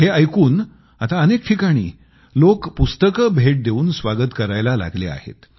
हे ऐकून आता अनेक ठिकाणी लोक पुस्तकं भेट देवून स्वागत करायला लागले आहेत